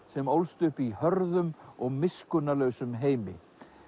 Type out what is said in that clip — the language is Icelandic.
sem ólst upp í hörðum og miskunnarlausum heimi